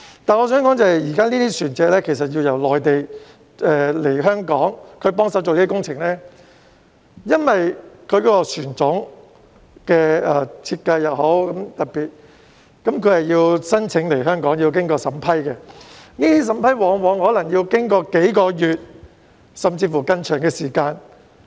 但是，我想指出的是，這些船隻要由內地來港協助進行工程，但由於船種的設計很特別，申請來港需要經過審批，往往可能需時數個月，甚至更長的時間。